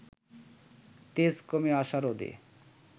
তেজ কমে আসা রোদে